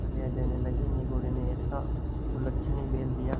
गालियाँ देने लगीनिगोडे़ ने ऐसा कुलच्छनी बैल दिया